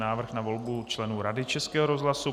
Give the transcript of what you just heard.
Návrh na volbu členů Rady Českého rozhlasu